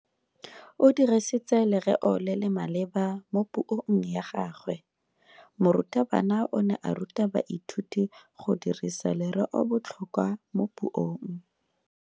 O dirisitse lereo le le maleba mo puong ya gagwe. Morutabana o ne a ruta baithuti go dirisa lereobotlhokwa mo puong.